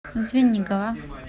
звенигово